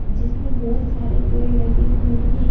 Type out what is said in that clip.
जिसमें बहुत सारे पेड़ लगे हुए हैं।